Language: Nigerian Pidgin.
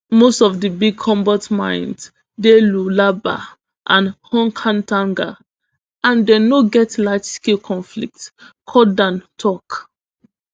most of di big cobalt mines dey lualaba and hautkatanga and dem no get largescale conflict cauthen tok